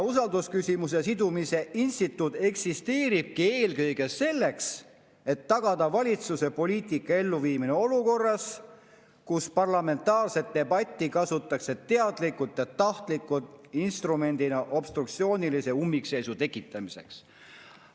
Usaldusküsimusega sidumise eksisteeribki eelkõige selleks, et tagada valitsuse poliitika elluviimine olukorras, kus parlamentaarset debatti kasutatakse teadlikult ja tahtlikult instrumendina obstruktsioonilise ummikseisu tekitamiseks.